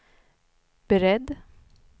beredd